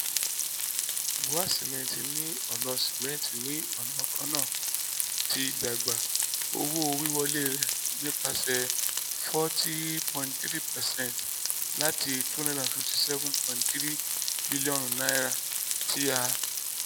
bua cement ni ọna cement ni ọna kanna ti dagba owo-wiwọle rẹ nipasẹ forty point three percent lati n two hundred fifty seven point three bilionu ti a